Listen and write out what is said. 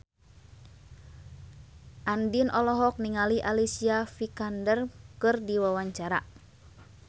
Andien olohok ningali Alicia Vikander keur diwawancara